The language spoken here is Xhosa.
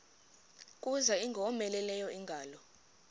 kuza ingowomeleleyo ingalo